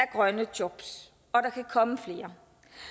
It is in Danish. grønne job og der kan komme flere